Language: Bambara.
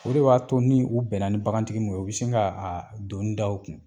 O de b'a to ni u bɛnna ni bagantigi mun ye, u bi sin ga a donnida o kun